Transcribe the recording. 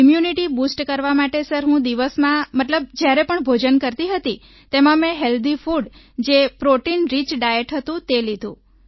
immunity boost કરવા માટે sir હું દિવસમાં મતલબ જ્યારે પણ ભોજન કરતી હતી તેમાં મેં હેલ્થી ફૂડ જે પ્રોટીન રિચ ડાયટ હતું તે લીધું